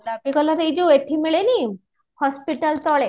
coffee colour ଏଈ ଯୋଉ ଏଠି ମିଳେନି hospital ତଳେ